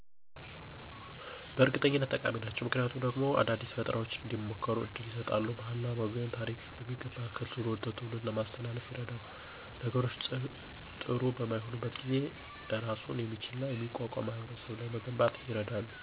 በእርግጠኝነት ጠቃሚ ናቸው። ምክንያቱ ደግሞ አዳዲስ ፈጠራዎች እንዲሞከሩ እድል ይሰጣሉ፣ ባህልንና ወግን፣ ታሪክን በሚገባ ከትውልድ ወደ ትውልድ ለማስተላለፍ ይረዳሉ። ነገሮች ጥሪ በማይሆኑበት ጊዜ እራሱን የሚችልና የሚቋቋም ማህበረሰብ ለመገንባት ይረዳሉ።